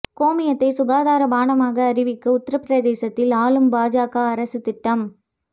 கோமியத்தை சுகாதார பானமாக அறிவிக்க உத்தரபிரதேசத்தில் ஆளும் பாஜக அரசு திட்டம்